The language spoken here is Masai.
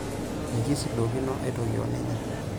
Mikisudokino aitoki oninye.